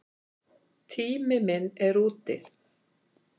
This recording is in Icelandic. Tími minn er úti.